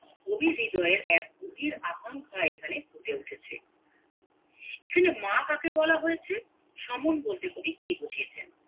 কবির হৃদয়ে এক গভীর আকাঙ্খা এখানে ফুটে উঠেছে এখানে মা কাকে বলা হয়েছেসমন বলতে কবি কি বুঝিয়েছেন